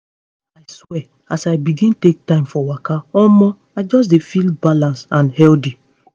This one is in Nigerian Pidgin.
i swear as i begin take time for waka omo i just dey feel balance and healthy.